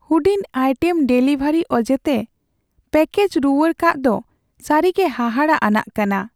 ᱦᱩᱲᱤᱡ item delivery ᱚᱡᱮᱛᱮ package ᱨᱩᱣᱟᱹᱲ ᱠᱟᱜ ᱫᱚ ᱥᱟᱹᱨᱤᱜᱮ ᱦᱟᱦᱟᱲᱟᱜ ᱟᱱᱟᱜ ᱠᱟᱱᱟ ᱾